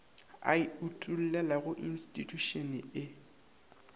a e utollelago institšhušene e